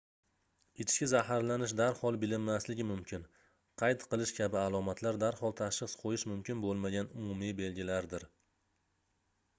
ichki zaharlanish darhol bilinmasligi mumkin qayt qilish kabi alomatlar darhol tashxis qoʻyish mumkin boʻlmagan umumiy belgilardir